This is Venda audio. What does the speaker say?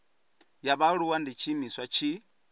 ya vhaaluwa ndi tshiimiswa tshi